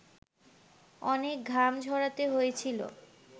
অনেক ঘাম ঝরাতে হয়েছিল